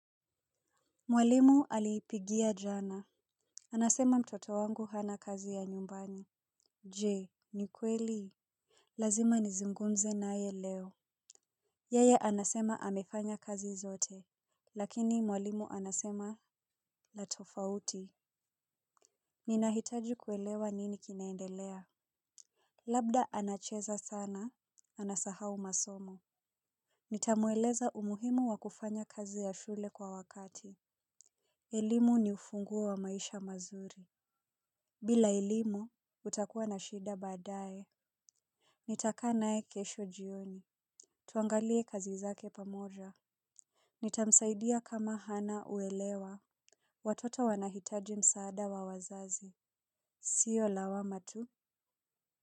Mwalimu alinipigia jana, anasema mtoto wangu hana kazi ya nyumbani. Je, ni kweli? Lazima nizungunmze naye leo. Yeye anasema amefanya kazi zote. Lakini mwalimu anasema la tofauti. Ninahitaji kuelewa nini kinaendelea. Labda anacheza sana anasahau masomo. Nitamueleza umuhimu wa kufanya kazi ya shule kwa wakati. Elimu ni ufunguo wa maisha mazuri. Bila elimu, utakuwa na shida baadaye. Nitakata naye kesho jioni. Tuangalie kazi zake pamoja. Nitamsaidia kama hana uelewa. Watoto wanahitaji msaada wa wazazi, sio lawama tu.